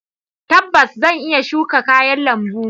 Tabbas! Zan iya shuka kayan lambu.